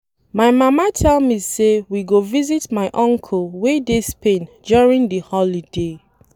My mama tell me say we go visit my uncle wey dey Spain during the holiday